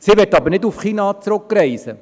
Sie möchte nicht nach China zurückreisen.